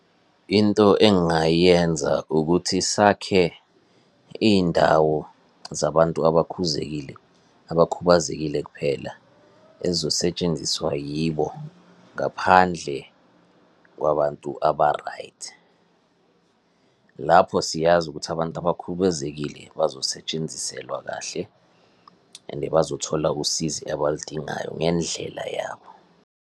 Into engayenza ukuthi sakhe iy'ndawo zabantu abakhuzekile, abakhubazekile kuphela, ezizosetshenziswa yibo ngaphandle kwabantu aba-right. Lapho siyazi ukuthi abantu abakhubazekile bazosetshenziselwa kahle and bazothola usizo abaludingayo ngendlela yabo.